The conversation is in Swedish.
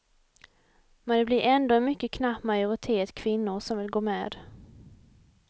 Men det blir ändå en mycket knapp majoritet kvinnor som vill gå med.